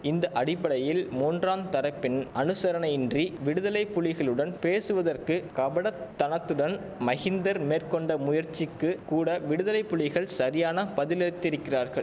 இந்த அடிப்படையில் மூன்றாந் தரப்பின் அனுசரணையின்றி விடுதலை புலிகளுடன் பேசுவதற்கு கபடத்தனத்துடன் மகிந்தர் மேற்கொண்ட முயற்சிக்கு கூட விடுதலை புலிகள் சரியான பதிலளித்திரிக்கிறார்கள்